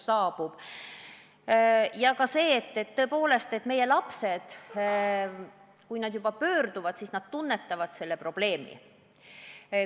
Ja oluline on ka see, et tõepoolest, kui meie lapsed juba psühhiaatri poole pöörduvad, siis nad tajuvad seda probleemi.